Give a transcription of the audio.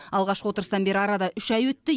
алғашқы отырыстан бері арада үш ай өтті